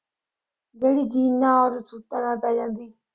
ਜਿਹੜੀ ਜੀਨ ਨਾਲ ਵੀ ਤੇ ਸੂਟਾਂ ਪੈ ਜਾਂਦੀ।